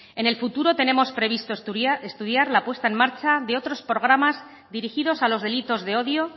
en el futuro tenemos previsto estudiar la puesta en marcha de otros programas dirigidos a los delitos de odio